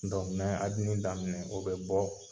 Dɔnku n be abine daminɛ o be bɔ